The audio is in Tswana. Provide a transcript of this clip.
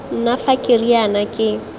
nna fa ke riana ke